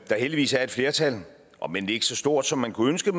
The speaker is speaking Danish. der heldigvis er et flertal om end ikke så stort som man kunne ønske